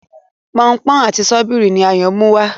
Pọnpọ́n àti Sọ́bíìrì ni Ayo Muwá.